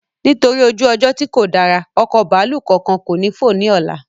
Nítorí ojú ọjọ́ tí kò dára, ọkọ̀ bàálù kánkán ko ni fo ni ọlá